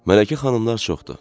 Mələkə xanımlar çoxdur.